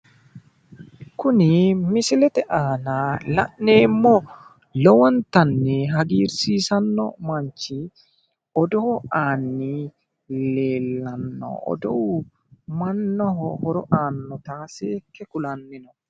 Kuni misilete aana la'neemo lowontanni hagirsiisanno manchi odoo aanni leelanno oduu mannaho horo annota seekke kulanni